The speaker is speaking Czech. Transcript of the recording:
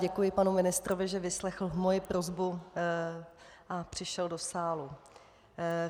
Děkuji panu ministrovi, že vyslechl moji prosbu a přišel do sálu.